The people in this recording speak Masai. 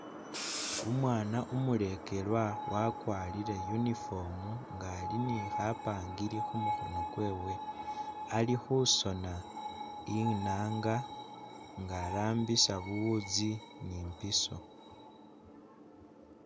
Umwana umulekelwa wakwarire uniform nga'ali ni khapangiri khumukhono kwewe. Ali khusona inaanga nga arambisa buwuuzi ni imbiiso.